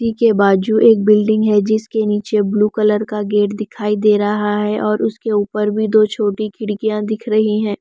पीके बाजू एक बिल्डिंग है जिसके नीचे ब्लू कलर का गेट दिखाई दे रहा है और उसके ऊपर भी दो छोटी खिड़कियां दिख रही है।